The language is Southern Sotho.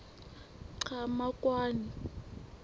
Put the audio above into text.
qhamakwane